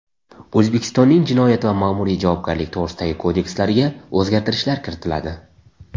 O‘zbekistonning Jinoyat va Ma’muriy javobgarlik to‘g‘risidagi kodekslariga o‘zgartirishlar kiritiladi.